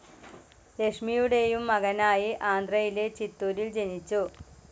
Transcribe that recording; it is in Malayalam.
ലക്ഷ്മിയുടെയും മകനായി ആന്ധ്രായിലെ ചിത്തുരിൽ ജനിച്ചു.